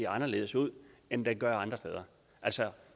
anderledes ud end den gør andre steder altså